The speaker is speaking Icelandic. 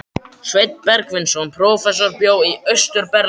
Sveinn Bergsveinsson prófessor bjó í Austur-Berlín.